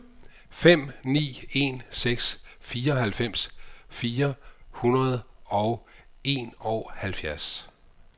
fem ni en seks fireoghalvfems fire hundrede og enoghalvfjerds